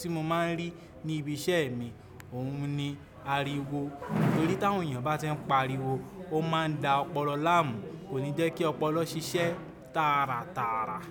tí mo máa ń rí ní ibi iṣẹ́ mi, òun ni ariwo. Nítorí tí àwọn èèyàn bá tí ń pariwo, ó máa ń da ọpọlọ láàmú, kò ní jẹ́ kí ọpọlọ ṣiṣẹ́ tààràtààrà.